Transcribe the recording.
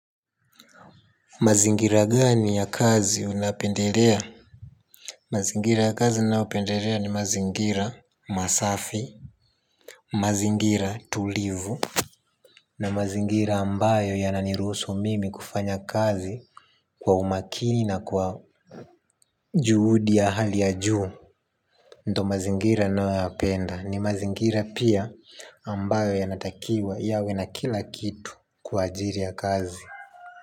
Mazingira gani ya kazi unapendelea? Mazingira ya kazi ninaopendelea ni mazingira masafi mazingira tulivu na mazingira ambayo yananiruhusu mimi kufanya kazi kwa umakini na kwa juhudi ya hali ya juu ndo mazingira ninaoyapenda, ni mazingira pia ambayo yanatakiwa yawe na kila kitu kwa ajili ya kazi.